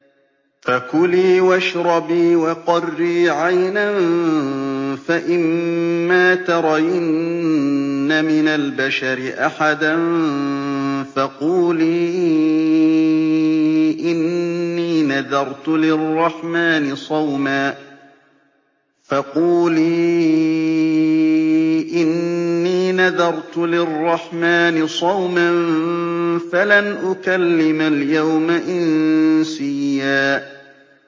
فَكُلِي وَاشْرَبِي وَقَرِّي عَيْنًا ۖ فَإِمَّا تَرَيِنَّ مِنَ الْبَشَرِ أَحَدًا فَقُولِي إِنِّي نَذَرْتُ لِلرَّحْمَٰنِ صَوْمًا فَلَنْ أُكَلِّمَ الْيَوْمَ إِنسِيًّا